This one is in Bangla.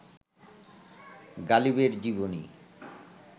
গালিবের জীবনী